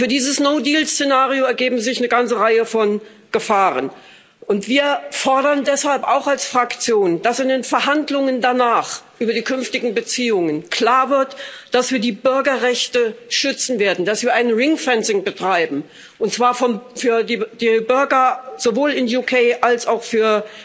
Und für dieses No Deal Szenario ergeben sich eine ganze Reihe von Gefahren, und wir fordern deshalb auch als Fraktion, dass in den Verhandlungen danach über die künftigen Beziehungen klar wird, dass wir die Bürgerrechte schützen werden, dass wir ring fencing betreiben und zwar sowohl für die Bürger in UK als auch für